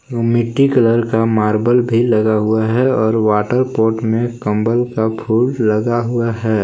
मिट्टी कलर का मार्बल भी लगा हुआ है और वॉटर पोट में कमल का फूल लगा हुआ है।